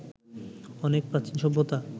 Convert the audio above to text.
অনেক প্রাচীন সভ্যতা